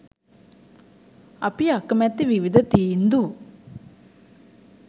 අපි අකමැති විවිධ තීන්දු